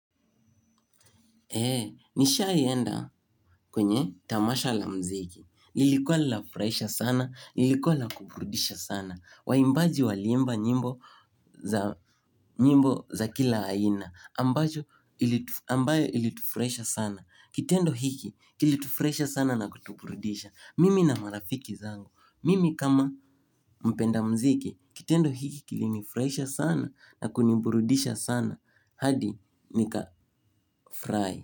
Eee, nishaienda kwenye tamasha la mziki. Lilikuwa linafurahisha sana, ilikuwa la kuburidisha sana. Waimbaji waliimba nyimbo za kila aina. Ambayo ilitufurahisha sana. Kitendo hiki, kilitufurahisha sana na kutuburidisha. Mimi na marafiki zangu. Mimi kama mpenda muziki, kitendo hiki kilinifurahisha sana na kuniburidisha sana. Hadi nika fry.